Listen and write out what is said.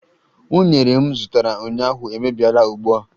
Unere m zụtara ụnyaahụ emebiela ugbua